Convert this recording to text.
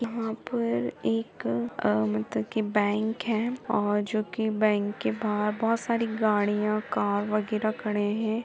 यहाँ पर एक बैंक हैं और जोकि बैंक के बाहर बोहोत सारी गाड़ियां कार वगैरह खड़े हैं।